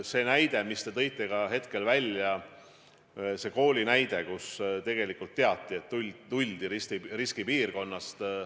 See kooli näide, mis te tõite – tegelikult teati, et tuldi riskipiirkonnast.